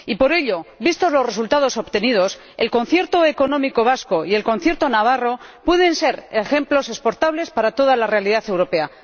Y por ello, vistos los resultados obtenidos, el concierto económico vasco y el concierto navarro pueden ser ejemplos exportables para toda la realidad europea.